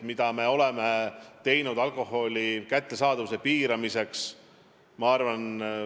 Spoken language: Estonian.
Mida me oleme teinud alkoholi kättesaadavuse piiramiseks?